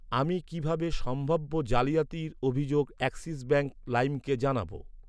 আমি কিভাবে সম্ভাব্য জালিয়াতির অভিযোগ অ্যাক্সিস ব্যাঙ্ক লাইমকে জানাব?